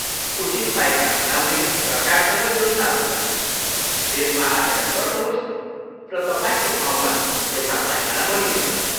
उचित पाइखाना बनाउने सरकारसँग योजनाहरू छन्, त्यसमा आवेदन गर्नुहोस् र तपाईँको ठाउँमा एउटा पाइखाना बनिने छ।